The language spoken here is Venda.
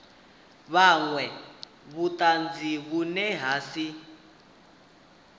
vhunwe vhutanzi vhune ha si